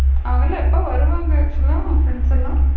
அவுங்கலாம் எப்ப வருவாங்க actual லா உன்னோட ப்ரிண்ட்ஸ்லா?